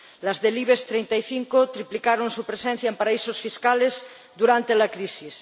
Las del Ibex 35 triplicaron su presencia en paraísos fiscales durante la crisis.